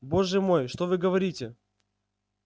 боже мой что вы говорите